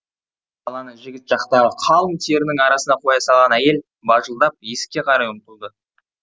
баланы жігіт жақтағы қалың терінің арасына қоя салған әйел бажылдап есікке қарай ұмтылды